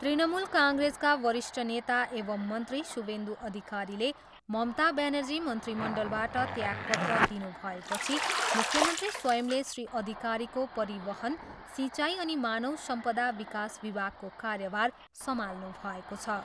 तृणमूल काङ्ग्रेसका वरिष्ठ नेता एवम् मन्त्री शुभेन्दु अधिकारीले ममता ब्यानर्जी मन्त्रीमण्डलबाट त्यागपत्र दिनुभएपछि मुख्यमन्त्री स्वयंले श्री अधिकारीको परिवहन, सिँचाइ अनि मानव सम्पदा विकास विभागको कार्यभार सम्हाल्नुभएको छ।